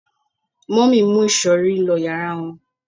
mummy mu isori lo yara wón